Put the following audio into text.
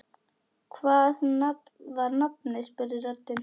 Hvað var nafnið? spurði röddin.